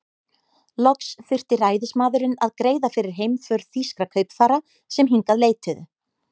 Loks þurfti ræðismaðurinn að greiða fyrir heimför þýskra kaupfara, sem hingað leituðu.